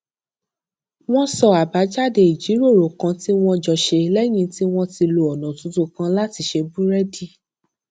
wón sọ àbájáde ìjíròrò kan tí wón jọ ṣe léyìn tí wón ti lo ònà tuntun kan láti ṣe búrédì